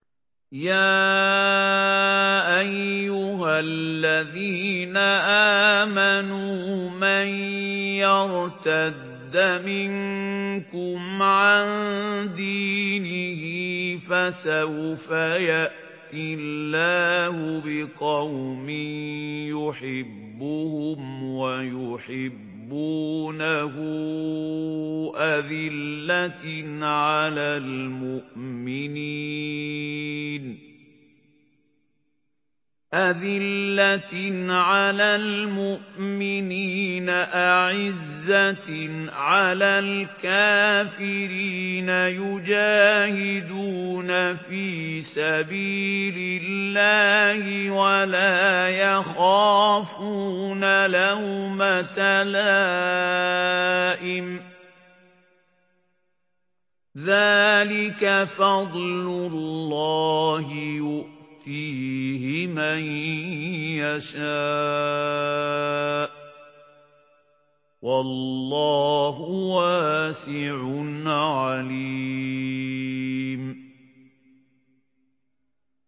يَا أَيُّهَا الَّذِينَ آمَنُوا مَن يَرْتَدَّ مِنكُمْ عَن دِينِهِ فَسَوْفَ يَأْتِي اللَّهُ بِقَوْمٍ يُحِبُّهُمْ وَيُحِبُّونَهُ أَذِلَّةٍ عَلَى الْمُؤْمِنِينَ أَعِزَّةٍ عَلَى الْكَافِرِينَ يُجَاهِدُونَ فِي سَبِيلِ اللَّهِ وَلَا يَخَافُونَ لَوْمَةَ لَائِمٍ ۚ ذَٰلِكَ فَضْلُ اللَّهِ يُؤْتِيهِ مَن يَشَاءُ ۚ وَاللَّهُ وَاسِعٌ عَلِيمٌ